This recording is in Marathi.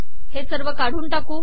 हे काढून टाकू